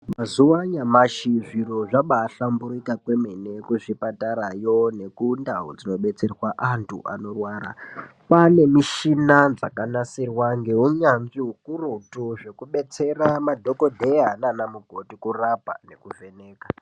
Mazuva anyamashi zviro zvabaahlamburika kwemene kuzvipatarayo nekundau dzinodetserwa antu anorwara, kwaane mishina yakanasirwa neunyanzvi ukurutu zvekudetsera madhogodheya nanamukoti kurapa nekuvheneka.